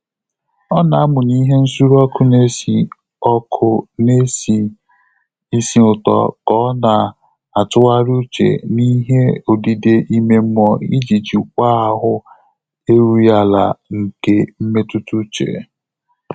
Ọ́ nà-àmụ́nyé ìhè nsùré ọ́kụ́ nà-ésí ọ́kụ́ nà-ésí ísì ụ́tọ́ kà ọ́ nà-àtụ́ghàrị́ úchè n’íhé ódídé ímé mmụ́ọ́ ìjí jíkwáá áhụ́ érúghị́ álá nké mmétụ́tà úchè.